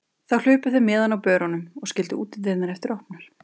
Þá hlupu þeir með hana á börunum og skildu útidyrnar eftir opnar.